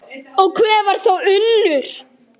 Og hver var þá Unnur?